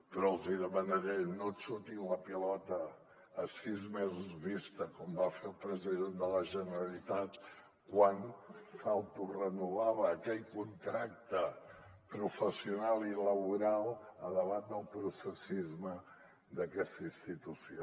però els demanaré no xutin la pilota a sis mesos vista com va fer el president de la generalitat quan s’autorenovava aquell contracte professional i laboral davant del processisme d’aquesta institució